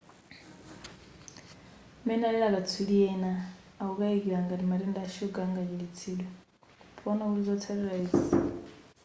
m'mene alili akatswiri ena amakayikira ngati matenda a shuga angachiritsidwe poona kuti zotsatila izi zilibe phindu kwa anthu ali kale ndi mtundu woyamba wa matenda ashuga